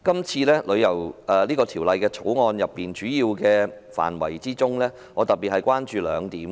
就《條例草案》的主要範圍，我特別關注兩點。